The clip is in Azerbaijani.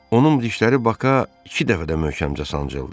Onun dişləri Baka iki dəfə də möhkəmcə sancıldı.